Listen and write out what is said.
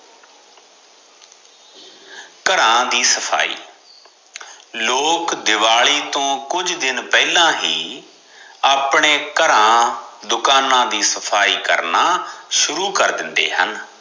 ਘਰਾਂ ਦੀ ਸਫਾਈ ਲੋਕ ਦਿਵਾਲੀ ਤੋ ਕੁਝ ਦਿਨ ਪਹਿਲਾ ਹੀ ਆਪਣੇ ਘਰਾਂ ਦੁਕਾਨਾ ਦੀ ਸਫਾਈ ਕਰਨਾ ਸ਼ੁਰੂ ਕਰ ਦਿੰਦੇ ਹਨ